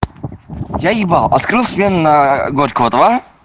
я ебал открыл смену на горького два